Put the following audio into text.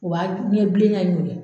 U b'a ɲɛ bilenya non dɛ